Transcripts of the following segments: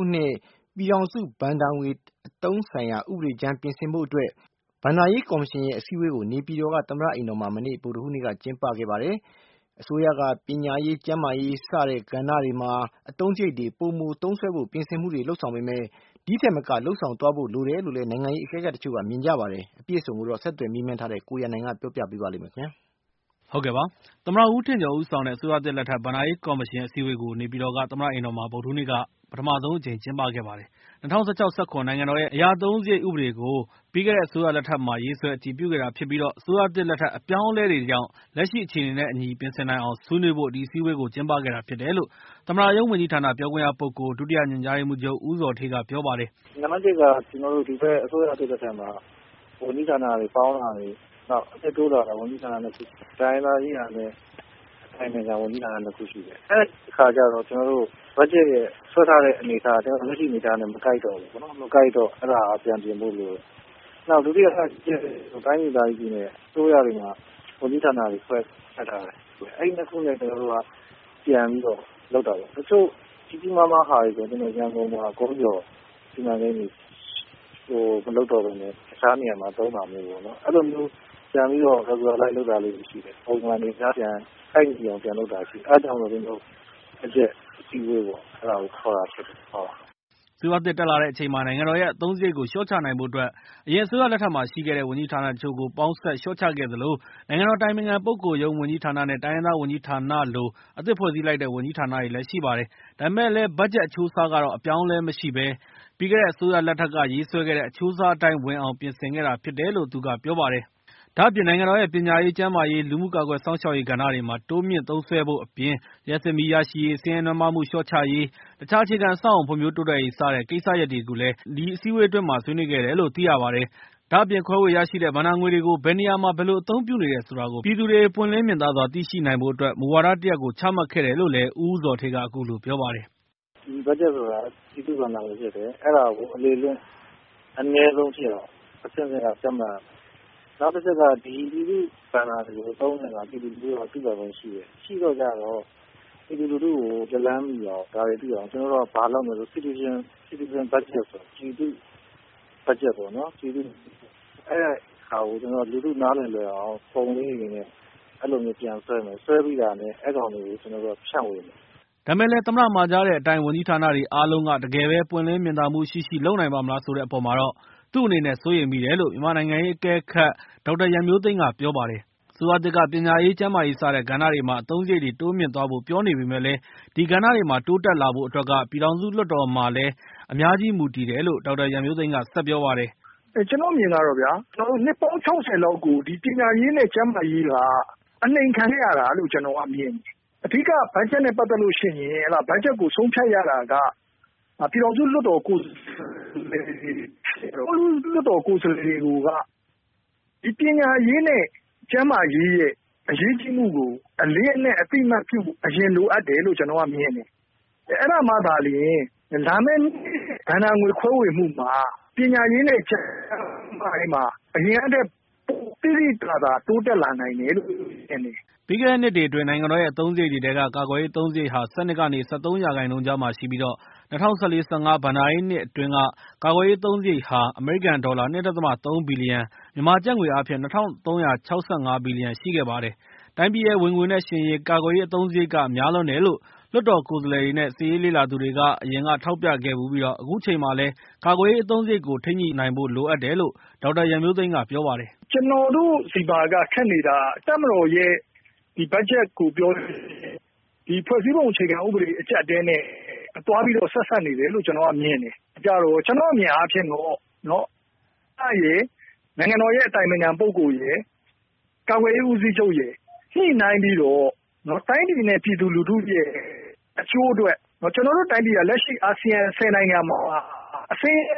ုနှစ် ပြည်ထောင်စုဘဏ္ဍာငွေ အသုံးစရိတ်ဆိုင်ရာ ဥပဒေကြမ်းပြင်ဆင်ဖို့ အတွက် ဘဏ္ဍာရေးကော်မရှင်ရဲ့ အစည်းအဝေးကို နေပြည်တော်သမ္မတ အိမ်တော်မှာ မနေ့က ဗုဒ္ဓဟူးနေ့က ကျင်းပခဲ့ပါတယ်။ အစိုးရက ပညာရေး၊ ကျန်းမာရေး စတဲ့ ကဏ္ဍတွေမှာ အသုံးစရိတ်တွေ ပိုမို သုံးစွဲဖို့ ပြင်ဆင်မှုတွေ လုပ်ဆောင်ပေမဲ့ ဒီထက်မက လုပ်ဆောင်သွားဖို့ လိုတယ်လို့လည်း နိုင်ငံရေး အကဲခတ်တချို့ မြင်ကြပါတယ်။ အပြည့်အစုံကိုတော့ ဆက်သွယ်မေးမြန်းထားတဲ့ ကိုရန်နိုင်က တင်ပြထားပါတယ်။ သမ္မတဦးထင်ကျော်ဦးဆောင်တဲ့ အစိုးရသစ်လက်ထက် ဘဏ္ဍာရေးကော်မရှင် အစည်းအဝေးကို နေပြည်တော်က သမ္မတအိမ်တော်မှာ ဗုဒ္ဓဟူးနေ့က ပထမဆုံး အကြိမ် ကျင်းပခဲ့ပါတယ်။ ၂၀၁၆-၂၀၁၇ နိုင်ငံတော်ရဲ့ အသုံးစရိတ်ဥပဒေကို ပြီးခဲ့တဲ့အစိုးရလက်ထက်မှာ ရေးဆွဲအတည်ပြုခဲ့တာဖြစ်ပြီးတော့ အစိုးရသစ် လက်ထက် အပြောင်းအလဲတွေကြောင့် လက်ရှိ အခြေအနေနဲ့ အညီ ပြင်ဆင်နိုင်အောင် ဆွေးနွေးဖို့ ဒီအစည်းအဝေးကို ကျင်းပခဲ့တာဖြစ်တယ်လို့ သမ္မတရုံးဝန်ကြီးဌာန ပြောခွင့်ရပုဂ္ဂိုလ် ဒုတိယညွှန်ကြားရေးမှူးချုပ် ဦးဇော်ဌေးက ပြောပါတယ်။ “နံပါတ်တစ်က ကျနော်တို့ ဒီဘက် အစိုးရသစ်လက်ထက်မှာ ဝန်ကြီးဌာနတွေ ပေါင်းတာတွေ၊ နောက် အသစ်တိုးလာတဲ့ ဝန်ကြီးဌာန ၂ ခု တိုင်းရင်းသားရေးရာနဲ့ အတိုင်ပင်ခံ ဝန်ကြီးဌာန ၂ ခုရှိတယ်။ အဲအခါကျတော့ ကျနော်တို့ ဘတ်ဂျက်ရဲ့ ဆွဲထားတဲ့အနေအထားက လက်ရှိ အနေအထားနဲ့ မကိုက်တော့ဘူးပေါ့နော်။ မကိုက်တော့ အဲဒါက ပြန်ပြင်ဖို့လိုတယ်။ ဒုတိယတချက် တိုင်းဒေသကြီးပြည်နယ် အစိုးရတွေမှာ ဝန်ကြီးဌာနတွေ ဆွဲခန့်ထားတာရှိတယ်။ အဲဒီနှစ်ခုနဲ့ ကျနော်တို့က ပြန်ပြီးတော့ လုပ်တာပေါ့။ တချို့ ကြီးကြီးမားမားဟာတွေ ဆိုရင် ရန်ကုန်မှာ ကုန်းကျော်စီမံကိန်းတွေ မလုပ်တော့ဘဲနဲ့ တခြားနေရာမှာ သုံးတာမျိုးပေါ့နော်။ အဲ့လိုမျိုး ပြန်ပြီးတော့ ညှိယူနေတာမျိုးတွေ ရှိတယ်။ အဲဒါကြောင့်မို့ ကျနော်တို့ ဆွေးနွေးဖို့အတွက် ခေါ်တာဖြစ်တယ်။” အစိုးရသစ်တက်လာတဲ့အချိန်မှာ နိုင်ငံတော်ရဲ့အသုံးစရိတ်ကို လျှော့ချနိုင်ဖို့အတွက် အရင်အစိုးရလက်ထက်မှာရှိခဲ့တဲ့ ဝန်ကြီးဌာနတချို့ ကို ပေါင်းစပ်လျှော့ချခဲ့ သလို၊ နိုင်ငံတော် အတိုင်ပင်ခံပုဂ္ဂိုလ်ရုံး ဝန်ကြီးဌာနနဲ့ တိုင်းရင်းသားဝန်ကြီးဌာနလို အသစ်ဖွဲ့စည်းလိုက်တဲ့ ဝန်ကြီးဌာနတွေလည်း ရှိပါတယ်။ ဒါပေမဲ့လည်း ဘတ်ဂျက် အချိုးအစားကတော့ အပြောင်းအလဲမရှိဘဲ ပြီးခဲ့တဲ့အစိုးရလက်ထက် ရေးဆွဲခဲ့တဲ့ အချိုးအစားအတိုင်း ဝင်အောင် ပြင်ဆင်ခဲ့တာဖြစ်တယ်လို့ သူက ပြောပါတယ်။ ဒါ့အပြင် နိုင်ငံတော်ရဲ့ ပညာရေး၊ ကျန်းမာရေး၊ လူမှု ကာကွယ် စောင့်ရှောက်ရေး ကဏ္ဍတွေမှာ တိုးမြှင့်သုံးစွဲဖို့အပြင် လျှပ်စစ်မီးရရှိရေး၊ ဆင်းရဲနွမ်းပါးမှုလျှော့ချရေး၊ တခြားအခြေခံအဆောက်အဦး ဖွံ့ဖြိုးတိုးတက်ရေး စတဲ့ ကိစ္စရပ်တွေကိုလည်း ဒီအစည်းအဝေးအတွင်းမှာ ဆွေးနွေးခဲ့တယ်လို့လည်း သိရပါတယ်။ ဒါ့အပြင် ခွဲဝေရရှိတဲ့ ဘဏ္ဍာငွေတွေကို ဘယ်နေရာမှာ ဘယ်လိုအသုံးပြုနေတယ် ဆိုတာကို ပြည်သူတွေ ပွင့်လင်းမြင်သာစွာ သိရှိနိုင်ဖို့အတွက် မူဝါဒတရပ်ကို ချမှတ်ခဲ့တယ်လို့လည်း ဦးဇော်ဌေးက အခုလို ပြောပါတယ်။ “ဘတ်ဂျက်ဆိုတာ ပြည်သူ့ဘဏ္ဍာငွေဖြစ်တယ်။ အဲဒါကို အလေအလွင့် အနည်းဆုံးဖြစ်အောင် အဆင့်ဆင့်က ကြပ်မတ်ရမယ်။ နောက်တခုက ဒီပြည်သူ့ဘဏ္ဍာတွေကို သုံးတဲ့အခါ ပြည်သူတွေက သိပိုင်ခွင့်ရှိတယ်။ ရှိတော့ကျ ပြည်သူလူထုကို လက်လှမ်းမီအောင်၊ ဒါတွေသိအောင် ဘာလုပ်မလဲဆိုတော့ citizen budget ဆိုတာ ပြည်သူ့ဘတ်ဂျက်ပေါ့နော် အဲဒါကို လူထုနားလည်လွယ်အောင် ပုံလေးတွေနဲ့ အဲ့လိုမျိုး ပြန်ဆွဲမယ်။ ဆွဲပြီးတာနဲ့ အဲ့ကောင်တွေကို ကျနော်တို့က ဖြန့်ဝေမယ်။” ဒါပေမဲ့လည်း သမ္မတမှာကြားတဲ့အတိုင်း ဝန်ကြီးဌာနတွေအားလုံးက တကယ်ပဲ ပွင့်လင်းမြင်သာမှုရှိရှိ လုပ်နိုင်ပါ့မလား ဆိုတဲ့အပေါ်မှာတော့ သူ့အနေနဲ့ စိုးရိမ်မိတယ် လို့ မြန်မာနိုင်ငံရေးအကဲခတ် ဒေါက်တာ ရန်မျိုးသိမ်းက ပြောပါတယ်။ အစိုးရသစ်က ပညာရေး၊ ကျန်းမာရေး စတဲ့ ကဏ္ဍတွေမှာ အသုံးစရိတ်တွေ တိုးမြှင့်သွား ဖို့ ပြောနေပေမဲ့လည်း ဒီကဏ္ဍတွေမှာ တိုးတက်လာဖို့ အတွက်က ပြည်ထောင်စု လွှတ်တော်မှာလည်း အများကြီး မူတည်တယ် လို့ ဒေါက်တာရန်မျိုးသိမ်း ဆက်ပြောပါတယ်။ “ကျနော့်အမြင်ကတော့ဗျာ နှစ်ပေါင်း ၆၀ လောက်ကို ပညာရေးနဲ့ ကျန်းမာရေးက အနှိမ်ခံခဲ့ရတာလို့ ကျနော်က မြင်တယ်။ အဓိက ဘတ်ဂျက်နဲ့ ပတ်သက်လို့ရှိရင် ဘတ်ဂျက်ကို ဆုံးဖြတ်ရတာက ပြည်ထောင်စု လွှတ်တော်ကိုယ်စားလှယ်တွေ ဒီကိုယ်စားလှယ်တွေကိုက ပညာရေးနဲ့ ကျန်းမာရေးရဲ့ အရေးကြီးမှုကို အလေးအနက် အသိအမှတ်ပြုမှု အရင် လိုအပ်တယ်လို့ ကျနော်က မြင်တယ်။ အဲဒါမှသာလျှင် လာမယ့်နှစ် ဘဏ္ဍာငွေခွဲဝေမှုမှာ ပညာရေးနဲ့ကျန်းမာရေးမှာ ပိုသိသိသာသာ တိုးတက်လာနိုင်တယ်လို့ မြင်တယ်။” ပြီးခဲ့တဲ့နှစ်တွေအတွင်း နိုင်ငံတော်ရဲ့အသုံးစရိတ်တွေထဲက ကာကွယ်ရေး အသုံးစရိတ်ဟာ ၁၂ ကနေ ၁၃ ရာခိုင်နှုန်းကြားမှာရှိပြီးတော့ ၂၀၁၄-၂၀၁၅ ဘဏ္ဍာရေးနှစ်အတွင်းက ကာကွယ်ရေးအသုံးစရိတ်ဟာ အမေရိကန်ဒေါ်လာ ၂.၃ ဘီလီယံ၊ မြန်မာကျပ်ငွေအားဖြင့် ၂၃၆၅ ဘီလီယံ ရှိခဲ့ပါတယ်။ တိုင်းပြည်ရဲ့ ဝင်ငွေနဲ့ယှဉ်ရင် ကာကွယ်ရေးအသုံးစရိတ်က များလွန်းတယ်လို့ လွှတ်တော် ကိုယ်စားလှယ်တွေနဲ့ စစ်ရေးလေ့လာသူတွေက အရင်က ထောက်ပြခဲ့ဖူးပြီးတော့ အခုချိန်မှာလည်း ကာကွယ်ရေးအသုံးစရိတ်ကို ထိန်းညှိနိုင်ဖို့ လိုအပ်တယ် လို့ ဒေါက်တာ ရန်မျိုးသိမ်းက ပြောပါတယ်။ “ကျနော်တို့ဆီမှာ ခက်နေတာက တပ်မတော်ရဲ့ဘတ်ဂျက်ကို ပြောလို့ရှိရင် ဖွဲ့စည်းပုံအခြေခံဥပဒေ အကျပ်အတည်းနဲ့ သွားပြီးတော့ ဆက်စပ်နေတယ်လို့ ကျနော်က မြင်တယ်။ ကျနော့်အမြင်အားဖြင့်တော့ သမ္မတရယ်၊ နိုင်ငံတော်ရဲ့ အတိုင်ပင်ခံပုဂ္ဂိုလ်ရယ်၊ ကာကွယ်ရေးဦးစီးချုပ်ရယ် ညှိနှိုင်းပြီးတော့ တိုင်းပြည် နဲ့ ပြည်သူလူထုရဲ့ အချိုးအတွက် ကျနော်တို့တိုင်းပြည်က လက်ရှိ အာဆီယံ ၁၀ နိုင်ငံမှာ အဆင်းရဲ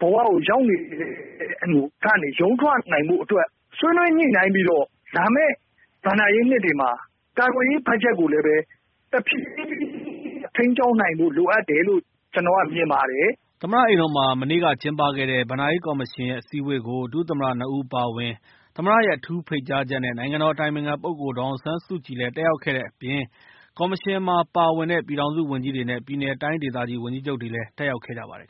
ဆုံး ဘဝကို ရောက်နေတဲ့ အခြေအနေကနေ ရုန်းထွက်နိုင်ဖု့ိ အတွက် ဆွေးနွေးညှိနှိုင်းပြီးတော့ လာမယ့် ဘဏ္ဍာရေးနှစ်တွေမှာ ကာကွယ်ရေး ဘတ်ဂျက်ကိုလည်းပဲ တဖြေးဖြေးချင်း ထိန်းကျောင်းနိုင်ဖို့ လိုအပ်တယ်လို့ ကျနော်က မြင်ပါတယ်။” သမ္မတအိမ်တော်မှာ မနေ့ကကျင်းပခဲ့တဲ့ ဘဏ္ဍာရေးကော်မရှင်ရဲ့ အစည်းအဝေးကို ဒုသမ္မတနှစ်ဦး အပါအဝင် သမ္မတရဲ့ အထူးဖိတ်ကြားချက် နဲ့ နိုင်ငံတော် အတိုင်ပင်ခံပုဂ္ဂိုလ် ဒေါ်အောင်ဆန်းစုကြည်လည်း တက်ရောက်ခဲ့တဲ့ အပြင် ကော်မရှင်မှာပါဝင်တဲ့ ပြည်ထောင်စုဝန်ကြီးတွေနဲ့ ပြည်နယ်တိုင်းဒေသကြီး ဝန်ကြီးချုပ်တွေလည်း တက်ရောက်ခဲ့ကြပါတယ်